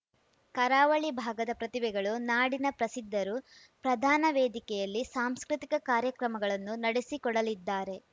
ಕರಾವಳಿ ಭಾಗದ ಪ್ರತಿಭೆಗಳು ನಾಡಿನ ಪ್ರಸಿದ್ಧರು ಪ್ರದಾನ ವೇದಿಕೆಯಲ್ಲಿ ಸಾಂಸ್ಕೃತಿಕ ಕಾರ್ಯಕ್ರಮಗಳನ್ನು ನಡೆಸಿಕೊಡಲಿದ್ದಾರೆ